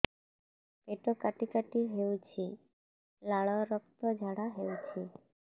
ପେଟ କାଟି କାଟି ହେଉଛି ଲାଳ ରକ୍ତ ଝାଡା ହେଉଛି